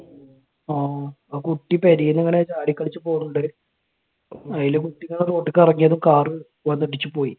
ആഹ് ആ കുട്ടി പെരേന്ന് ഇങ്ങനെ ചാടി കളിച്ച് പോണിണ്ടായി. അത് കുട്ടി road ലേക്ക് ഇറങ്ങിയതും car വന്നിടിച്ച് പോയി.